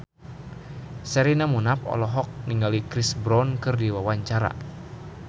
Sherina Munaf olohok ningali Chris Brown keur diwawancara